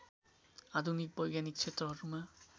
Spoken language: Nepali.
आधुनिक वैज्ञानिक क्षेत्रहरूमा